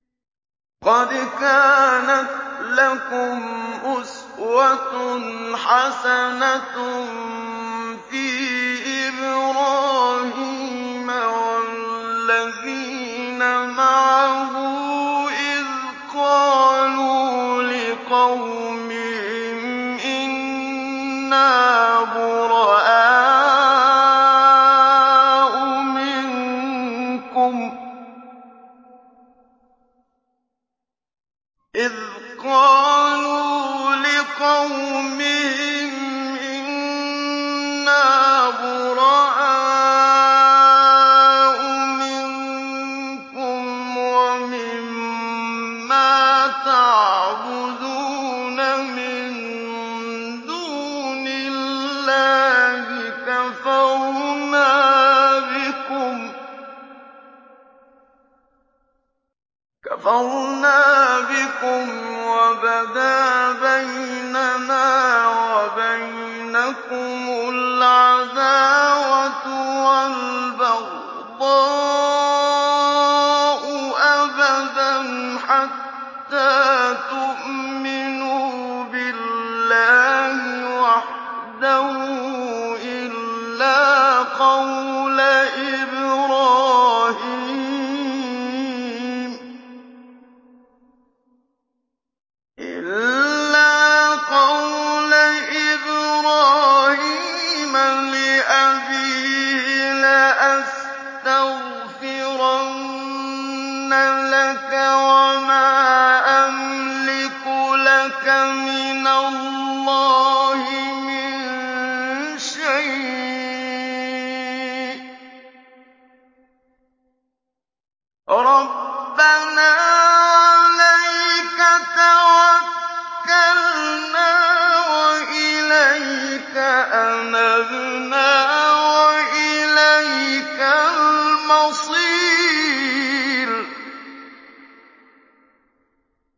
قَدْ كَانَتْ لَكُمْ أُسْوَةٌ حَسَنَةٌ فِي إِبْرَاهِيمَ وَالَّذِينَ مَعَهُ إِذْ قَالُوا لِقَوْمِهِمْ إِنَّا بُرَآءُ مِنكُمْ وَمِمَّا تَعْبُدُونَ مِن دُونِ اللَّهِ كَفَرْنَا بِكُمْ وَبَدَا بَيْنَنَا وَبَيْنَكُمُ الْعَدَاوَةُ وَالْبَغْضَاءُ أَبَدًا حَتَّىٰ تُؤْمِنُوا بِاللَّهِ وَحْدَهُ إِلَّا قَوْلَ إِبْرَاهِيمَ لِأَبِيهِ لَأَسْتَغْفِرَنَّ لَكَ وَمَا أَمْلِكُ لَكَ مِنَ اللَّهِ مِن شَيْءٍ ۖ رَّبَّنَا عَلَيْكَ تَوَكَّلْنَا وَإِلَيْكَ أَنَبْنَا وَإِلَيْكَ الْمَصِيرُ